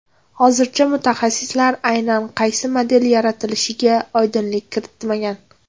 Hozircha mutaxassislar aynan qaysi model yaratilishiga oydinlik kiritmagan.